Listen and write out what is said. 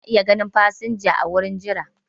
Ana iya ganin fasinjoji a wurin jira.